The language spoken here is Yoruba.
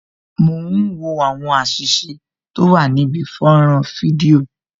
Mo ń wo àwọn àṣìṣe tó wà níbi fọ́nrán fídíò